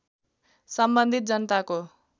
सम्बन्धित जनताको